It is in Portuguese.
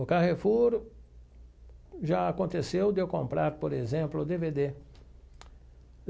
O Carrefour já aconteceu de eu comprar, por exemplo, o dê vê dê.